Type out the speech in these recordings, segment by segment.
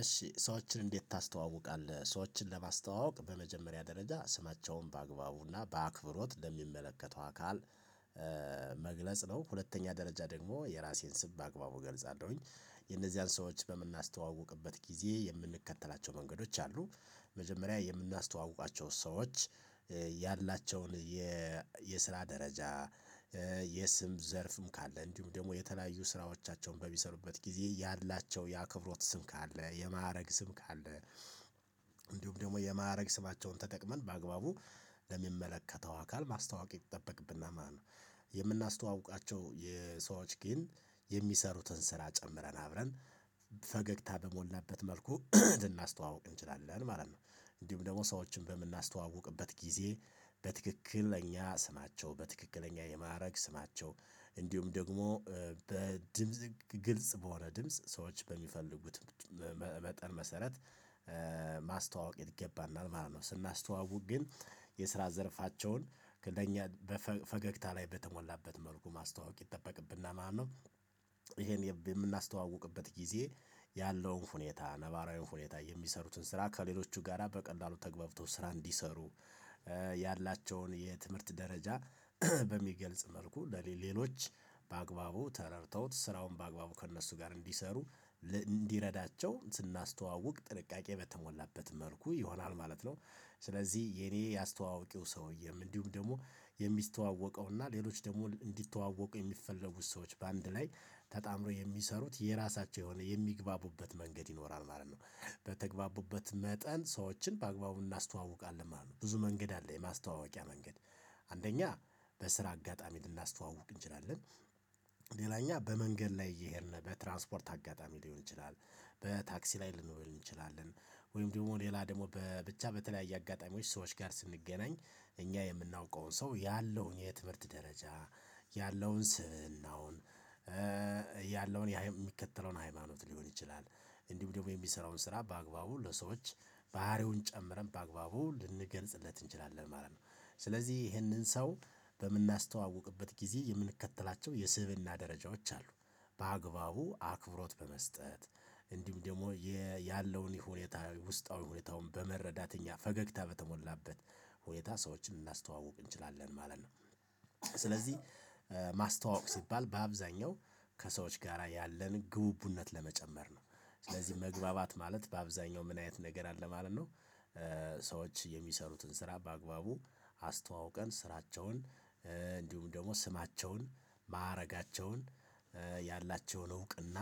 እሺ ሰዎችን እንዴት ታስተዋውቃለህ? ሰዎችን ለማስተዋወቅ በመጀመሪያ ደረጃ ስማቸውን በአግባቡና በአክብሮት ለሚመለከተው አካል መግለጽ ነው። ሁለተኛ ደረጃ ደግሞ የራሴን ስም በአግባቡ ገልጻለሁኝ። የነዚያን ሰዎች በምናስተዋውቅበት ጊዜ የምንከተላቸው መንገዶች አሉ። መጀመሪያ የምናስተዋውቃቸው ሰዎች ያላቸውን የስራ ደረጃ የስም ዘርፍም ካለ እንዲሁም ደግሞ የተለያዩ ስራዎቻቸውን በሚሰሩበት ጊዜ ያላቸው የአክብሮት ስም ካለ የማዕረግ ስም ካለ እንዲሁም ደግሞ የማዕረግ ስማቸውን ተጠቅመን በአግባቡ ለሚመለከተው አካል ማስተዋወቅ ይጠበቅብናል ማለት ነው። የምናስተዋውቃቸው የሰዎች ግን የሚሰሩትን ስራ ጨምረን አብረን ፈገግታ በሞላበት መልኩ ልናስተዋውቅ እንችላለን ማለት ነው። እንዲሁም ደግሞ ሰዎችን በምናስተዋውቅበት ጊዜ በትክክለኛ ስማቸው በትክክለኛ የማዕረግ ስማቸው እንዲሁም ደግሞ በድምጽ ግልጽ በሆነ ድምጽ ሰዎች በሚፈልጉት መጠን መሰረት ማስተዋወቅ ይገባናል ማለት ነው። ስናስተዋውቅ ግን የስራ ዘርፋቸውን ከእኛ በፈገግታ ላይ በተሞላበት መልኩ ማስተዋወቅ ይጠበቅብና ማለት ነው። የምናስተዋውቅበት ጊዜ ያለውን ሁኔታ ነባራዊ ሁኔታ የሚሰሩትን ስራ ከሌሎቹ ጋራ በቀላሉ ተግባብቶ ስራ እንዲሰሩ ያላቸውን የትምህርት ደረጃ በሚገልጽ መልኩ ለሌሎች በአግባቡ ተረድተውት ስራውን በአግባቡ ከእነሱ ጋር እንዲሰሩ እንዲረዳቸው ስናስተዋውቅ ጥንቃቄ በተሞላበት መልኩ ይሆናል ማለት ነው። ስለዚህ የኔ ያስተዋወቂው ሰውዬም እንዲሁም ደግሞ የሚስተዋወቀው እና ሌሎች ደግሞ እንዲተዋወቁ የሚፈልጉት ሰዎች በአንድ ላይ ተጣምልጅረው የሚሰሩት የራሳቸው የሆነ የሚግባቡበት መንገድ ይኖራል ማለት ነው። በተግባቡበት መጠን ሰዎችን በአግባቡ እናስተዋውቃለን ማለት ነው። ብዙ መንገድ አለ የማስተዋወቂያ መንገድ አንደኛ በስራ አጋጣሚ ልናስተዋውቅ እንችላለን። ሌላኛ በመንገድ ላይ እየሄድን በትራንስፖርት አጋጣሚ ሊሆን ይችላል። በታክሲ ላይ ልንሆን እንችላለን። ወይም ደግሞ ሌላ ደግሞ በብቻ በተለያየ አጋጣሚዎች ሰዎች ጋር ስንገናኝ እኛ የምናውቀውን ሰው ያለውን የትምህርት ደረጃ ያለውን ስብእናውን ያለውን የሚከተለውን ሃይማኖት ሊሆን ይችላል እንዲሁ ደግሞ የሚሰራውን ስራ በአግባቡ ለሰዎች ባህሪውን ጨምረን በአግባቡ ልንገልጽለት እንችላለን ማለት ነው። ስለዚህ ይህንን ሰው በምናስተዋውቅበት ጊዜ የምንከተላቸው የስብእና ደረጃዎች አሉ። በአግባቡ አክብሮት በመስጠት እንዲሁም ደግሞ ያለውን ይሁኔታ ውስጣዊ ሁኔታውን በመረዳት እኛ ፈገግታ በተሞላበት ሁኔታ ሰዎችን ልናስተዋውቅ እንችላለን ማለት ነው። ስለዚህ ማስተዋወቅ ሲባል በአብዛኛው ከሰዎች ጋራ ያለን ግቡቡነት ለመጨመር ነው። ስለዚህ መግባባት ማለት በአብዛኛው ምን አይነት ነገር አለ ማለት ነው። ሰዎች የሚሰሩትን ስራ በአግባቡ አስተዋውቀን ስራቸውን እንዲሁም ደግሞ ስማቸውን ማዕረጋቸውን ያላቸውን እውቅና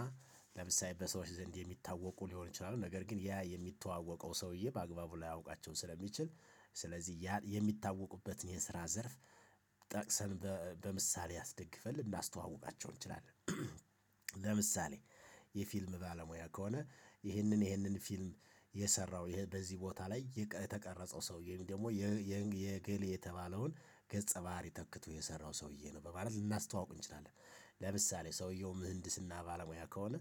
ለምሳሌ በሰዎች ዘንድ የሚታወቁ ሊሆን ይችላሉ ነገር ግን ያ የሚተዋወቀው ሰውዬ በአግባቡ ላያውቃቸው ስለሚችል ስለዚህ ያን የሚታወቁበትን የስራ ዘርፍ ጠቅሰን በምሳሌ አስደግፈን ልናስተዋውቃቸው እንችላለን። ለምሳሌ የፊልም ባለሙያ ከሆነ ይህንን ይህንን ፊልም የሰራው በዚህ ቦታ ላይ የተቀረጸው ሰውዬ ወይም ደግሞ የገሌ የተባለውን ገጸ ባህሪ ተክቶ የሰራው ሰውዬ ነው በማለት ልናስተዋውቅ እንችላለን። ለምሳሌ ሰውየው ምህንድስና ባለሙያ ከሆነ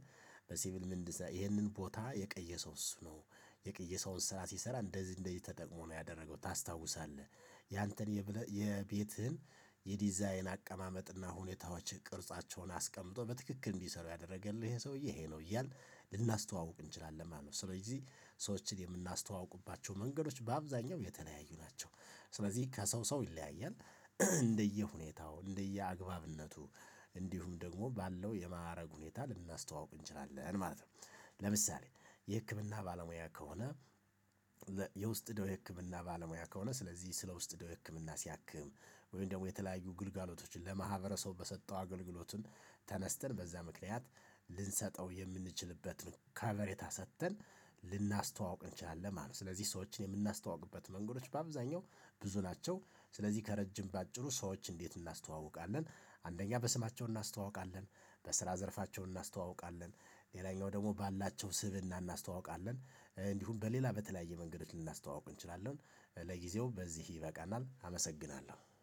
በሲቪል ምህንድስና ይሄንን ቦታ የቀየሰው እሱ ነው። የቀየሰውን ስራ ሲሰራ እንደዚህ እንደዚህ ተጠቅሞ ነው ያደረገው ታስታውሳለህ ያንተን የቤትህን የዲዛይን አቀማመጥና ሁኔታዎች ቅርጻቸውን አስቀምጦ በትክክል እንዲሰሩ ያደረገልህ ይሄ ሰውዬ ይሄ ነው እያልን ልናስተዋውቅ እንችላለን ማለት ነው። ስለዚህ ሰዎችን የምናስተዋውቅባቸው መንገዶች በአብዛኛው የተለያዩ ናቸው። ስለዚህ ከሰው ሰው ይለያያል። እንደየ ሁኔታው እንደየ አግባብነቱ እንዲሁም ደግሞ ባለው የማዕረግ ሁኔታ ልናስተዋውቅ እንችላለን ማለት ነው። ለምሳሌ የህክምና ባለሙያ ከሆነ የውስጥ ደዌ የህክምና ባለሙያ ከሆነ ስለዚህ ስለ ውስጥ ደዌ ህክምና ሲያክም ወይም ደግሞ የተለያዩ ግልጋሎቶችን ለማህበረሰቡ በሰጠው አገልግሎቱን ተነስተን በዛ ምክንያት ልንሰጠው የምንችልበትን ከቨሬታ ሰጥተን ልናስተዋውቅ እንችላለን ማለት ነው። ስለዚህ ሰዎችን የምናስተዋውቅበት መንገዶች በአብዛኛው ብዙ ናቸው። ስለዚህ ከረጅም በአጭሩ ሰዎች እንዴት እናስተዋውቃለን? አንደኛ በስማቸው እናስተዋውቃለን። በስራ ዘርፋቸው እናስተዋውቃለን። ሌላኛው ደግሞ ባላቸው ስብእና እናስተዋውቃለን። እንዲሁም በሌላ በተለያየ መንገዶች ልናስተዋውቅ እንችላለን። ለጊዜው በዚህ ይበቃናል አመሰግናለሁ